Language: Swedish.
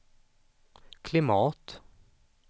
klimat